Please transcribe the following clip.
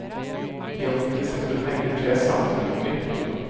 I offentlig sektor megler tre sammenslutninger. punktum